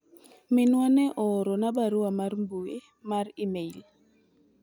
minwa ne ooro na barua mar mbui mar email